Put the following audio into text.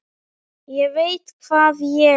ÉG VEIT HVAÐ ÉG